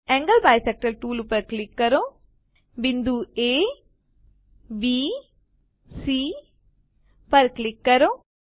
angle bisector tool click કરો બિંદુ abસી પર ક્લિક કરો